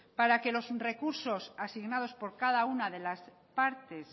para que los recursos asignados por cada una de las partes